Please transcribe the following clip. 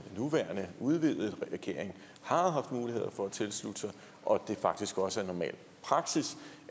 nuværende udvidede regering har haft mulighed for at tilslutte sig og at det faktisk også er normal praksis